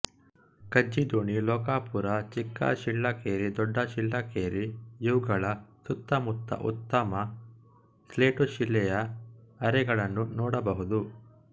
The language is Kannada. ಖಜ್ಜಿದೋಣಿ ಲೋಕಾಪುರ ಚಿಕ್ಕಶಿಳ್ಳಕೇರಿ ದೊಡ್ಡಶಿಳ್ಳಕೇರಿಇವುಗಳ ಸುತ್ತಮುತ್ತ ಉತ್ತಮ ಸ್ಲೇಟುಶಿಲೆಯ ಅರೆಗಳನ್ನು ನೋಡಬಹುದು